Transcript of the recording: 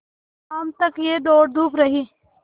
शाम तक यह दौड़धूप रही